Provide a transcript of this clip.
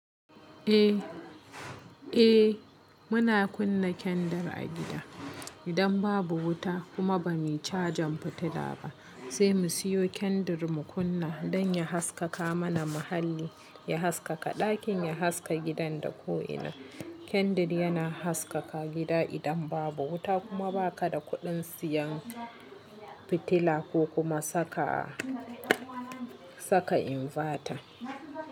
Eh, eh muna kunna kendir a gida. Idan babu wuta kuma ba muyi cajin fitila ba zai mu siyo kendir mu kunna don ya haskaka mana muhalli, ya haskaka ɗakin, ya haska gidan da ko'ina. Kendir yana haskaka gida idan babu wuta kuma ba ka da kuɗin siyan fitila ko kuma saka, saka invata.